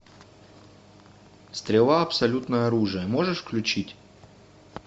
стрела абсолютное оружие можешь включить